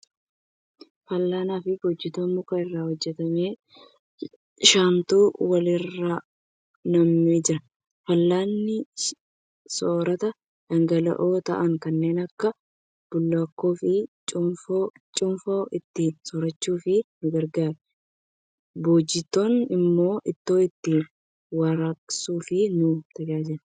Fal'aana fi boojitoo muka irraa hojjatame shantu wal irraa nammee jira. Fal'aanni soirata dhangala'oo ta'an kanneen akka bulluqaa fi cuunfaa ittiin soorachuuf nu gargaara. Boojitoon immoo ittoo ittiin warraaqsuuf nu tajaajila.